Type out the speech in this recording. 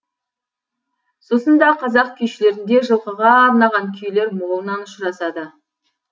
сосын да қазақ күйшілерінде жылқыға арнаған күйлер молынан ұшырасады